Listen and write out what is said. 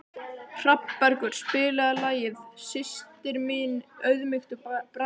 Hrafnbergur, spilaðu lagið „Systir minna auðmýktu bræðra“.